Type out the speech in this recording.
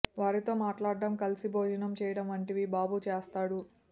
వారితో మాట్లాడం కలిసి భోజనం చేయడం వంటివి బాబు చేస్తాడు